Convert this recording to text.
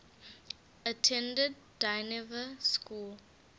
attended dynevor school